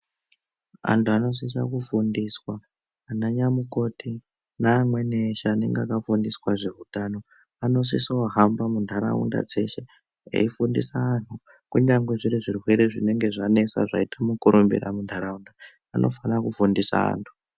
Antu vanosisa kufundiswa ananyamukoti nevamweni eshe anenge akafundiswa zveutano anosisa kuhamba muntaraunda dzeshe eifundisa antu kunyangwe zviri zvirwere zvinenge zvanesa zvaita mukurumbira muntaraunda anofana kufundisa antu.